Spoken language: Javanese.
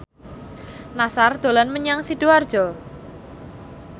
Nassar dolan menyang Sidoarjo